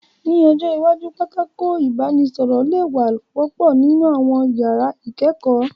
Ní ọjọ́ iwájú, pátákó ìbánisọ̀rọ̀ lè wá wọ́pọ̀ nínú àwọn yàrá ìkẹ́kọ̀ọ́